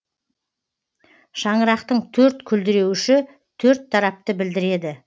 шаңырақтың төрт күлдіреуіші төрт тарапты білдіреді